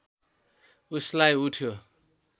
उसलाई उठ्यो